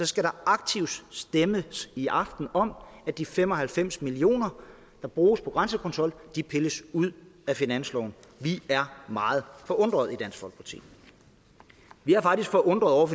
skal der aktivt stemmes i aften om at de fem og halvfems million kr der bruges på grænsekontrol pilles ud af finansloven vi er meget forundrede i dansk folkeparti vi er faktisk forundrede over